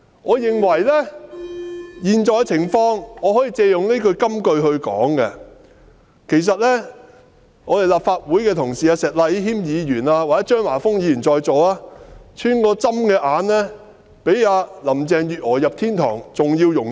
我認為可以借用這句金句來形容當前的情況，其實立法會的同事石禮謙議員或在座的張華峰議員，他們穿過針的眼，比林鄭月娥進入天堂還要容易。